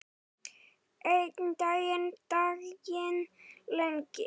Enginn daginn lengir.